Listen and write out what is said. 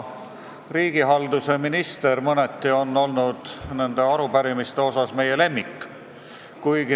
Riigihalduse minister on arupärimiste koha pealt olnud mõneti meie lemmik.